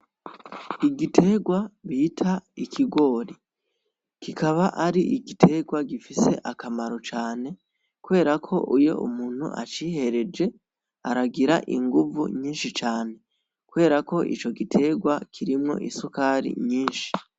Igiterwa bitwa ikigori, kikabari igiterwa gifise akamaro kanini cane kuberako iy'umtu acihereje aragira inguvu nyinshi cane kuberako ico giterwa kirimwo isuka nyinshi cane.